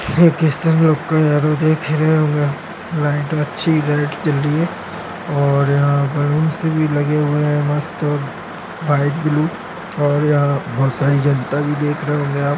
ये ख्रिश्चन लोग का एरो देख रहे है अच्छी लाइट जल राही है और बलून्स भी लागे हुये है मस्त वाईट ब्लू और यहाँ बहुत सारी जनता भी देख रहे होंगे आप।